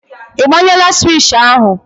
Ị gbanyela swishì ahụ?